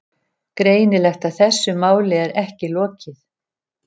Greinilegt að þessu máli er ekki lokið.